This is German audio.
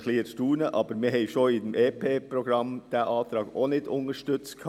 Aber wir haben bereits beim EP diesen Antrag nicht unterstützt.